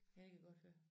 Ja jeg kan godt høre